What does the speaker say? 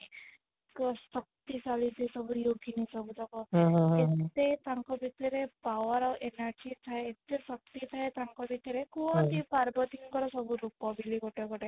ଶକ୍ତିଶାଳୀ ସେ ସବୁ ଯୋଗିନୀ ସବୁ ଏତେ ତାଙ୍କ ଭିତରେ power ଆଉ energy ଥାଏ ଏତେ ଶକ୍ତି ଥାଏ ତାଙ୍କ ଭିତରେ କୁହନ୍ତି ପାର୍ବତୀ ଙ୍କର ସବୁ ରୂପ ବୋଲି ଗୋଟେ ଗୋଟେ